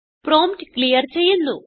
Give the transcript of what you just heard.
prompt clear ചെയ്യുന്നു